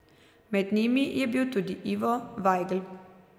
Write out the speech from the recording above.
Med njimi je bil tudi Ivo Vajgl.